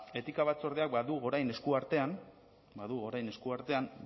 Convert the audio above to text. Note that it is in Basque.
etika batzordeak badu orain esku artean